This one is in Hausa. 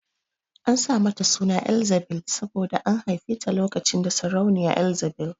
An sa mata suna Elzzabil saboda an haife ta lokacin da sarauniya Ezzabil